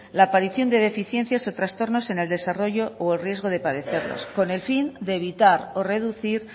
la aparición de deficiencias o trastornos en el desarrollo o el riesgo de padecerlos con el fin de evitar o reducir